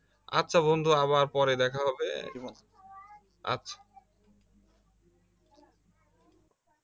আচ্ছা বন্ধু আবার পরে দেখা হবে আচ্ছা